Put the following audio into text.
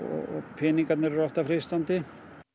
peningarnir eru alltaf freistandi